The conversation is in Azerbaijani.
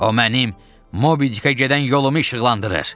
O mənim Mobidike gedən yolumu işıqlandırır.